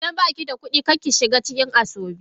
Idan ba ki da kuɗi, kar ki shiga cikin asoebi.